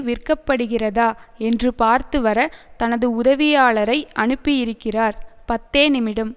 விற்கப்படுகிறதா என்று பார்த்துவர தனது உதவியாளரை அனுப்பியிருக்கிறார் பத்தே நிமிடம்